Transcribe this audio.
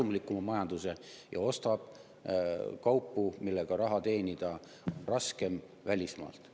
… endale kasumlikuma majanduse ja ostab kaupu, millega raha teenida on raskem välismaalt.